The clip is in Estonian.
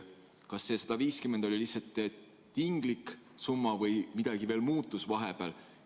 Kas see 150 oli lihtsalt tinglik summa või midagi veel vahepeal muutus?